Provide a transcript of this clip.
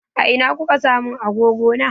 A ina kuka sa mun agogo na?